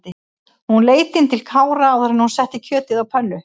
Hún leit inn til Kára áður en hún setti kjötið á pönnu.